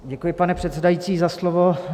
Děkuji, pane předsedající, za slovo.